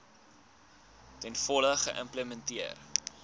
ten volle geïmplementeer